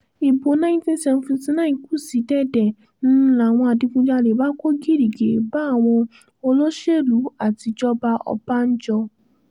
ibo ninety seventy nine kù sí dẹ̀dẹ̀ ń láwọn adigunjalè bá kó gìrìgìrì bá àwọn olóṣèlú àtijọba ọbànjọ́